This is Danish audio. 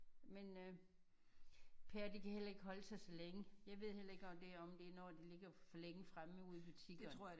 Men øh pærer de kan heller ikke holde sig så længe. Jeg ved heller ikke om det om det er når de ligger for længe fremme ude i butikkerne